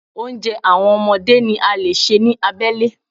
Oúnjẹ àwọn ọmọdé ni a lè ṣe ní abẹ́lé.